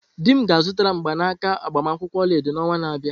Di m ga-azụtara m mgbanaka agbamakwụkwọ olaedo n'ọnwa na-abịa.